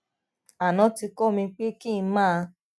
aná ti kó mi pé kí n máa